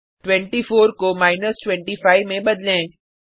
24 को माइनस 25 में बदलें